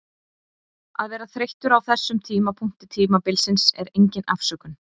Að vera þreyttur á þessum tímapunkti tímabilsins er engin afsökun.